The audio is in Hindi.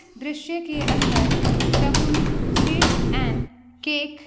दृश्य के अन्दर सगुन स्वीटस एंड केक --